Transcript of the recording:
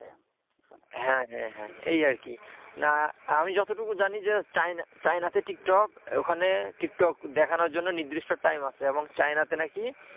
হ্যাঁ হ্যাঁ এই আর কি না আমি যতটুকু জানি যে চায়নাতে টিকটক ওখানে টিকটক দেখানোর জন্য নির্দিষ্ট time আছে এবং চায়নাতে নাকি,